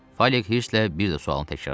Falik hirslə bir də sualı təkrarladı.